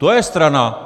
To je strana!